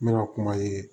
N bɛ ka kuma ye